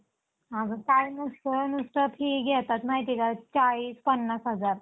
हा मग काय नसत नुसतं फी घेतात माहिती आहे का चाळीस पन्नास हजार